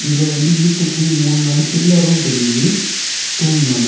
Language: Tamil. இதுல வந்து வீட்டுக்கு மூணு நாலு பில்லர் தெரியுது தூண் மாதிரி.